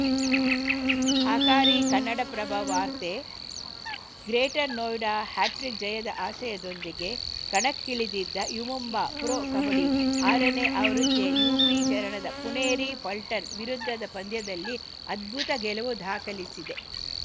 ಹಕಾರಿ ಕನ್ನಡಪ್ರಭ ವಾರ್ತೆ greater Noida hattrick ಜಯದ ಆಶಯದೊಂದಿಗೆ ಕಣಕ್ಕಿಳಿದಿದ್ದ ಯು ಮುಂಬಾ ಪ್ರೊ ಕಬಡ್ಡಿ ಆರನೇ ಆವೃತ್ತಿಯ ಯುಪಿ ಚರಣದ ಪುಣೇರಿ ಪಲ್ಟನ್‌ ವಿರುದ್ಧದ ಪಂದ್ಯದಲ್ಲಿ ಅದ್ಭುತ ಗೆಲುವು ದಾಖಲಿಸಿದೆ